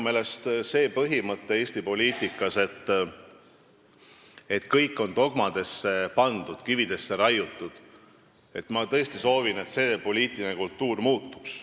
Ma tõesti soovin, et see põhimõte Eesti poliitikas, et kõik on dogmadesse pandud, kivisse raiutud, selline poliitiline kultuur muutuks.